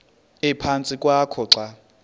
ephantsi kwakho xa